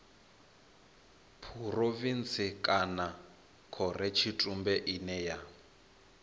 phurovintsi kana khorotshitumbe ine ya